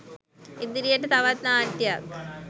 ඉදිරියට තවත් නාට්‍යයක්